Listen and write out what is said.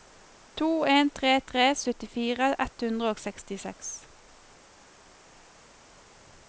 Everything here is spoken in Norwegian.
to en tre tre syttifire ett hundre og sekstiseks